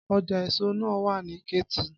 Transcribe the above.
Ọjà èso náà wà ní Kétu.